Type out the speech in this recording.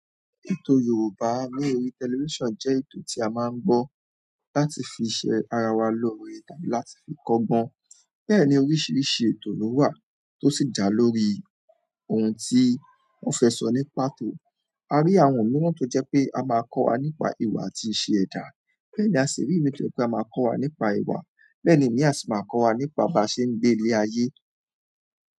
Ètò Yorùbá ní orí television jẹ́ ètò tí a máa ń gbọ́ láti fi ṣe ara wa lóore, láti fi kọ́gbọ́n. Bẹ́ẹ̀ ni oríṣiríṣi ètò ló wà tó sì jà lórí ohun tí wọ́n fẹ́ sọ nípa tò. A rí àwọn mìíràn tó jẹ́ pé a máa kọ́ wa nípa ìwà àti ìṣe ẹ̀dá. Bẹ́ẹ̀ ni a sì rí ètò tí a máa kọ́ wa nípa ìwà. Bẹ́ẹ̀ ni imi a sì máa kọ́ wa nípa bá ṣe ń gbé ní ilé ayé.